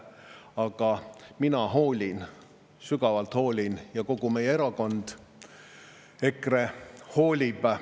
Ent mina hoolin, sügavalt hoolin, ja kogu meie erakond EKRE hoolib.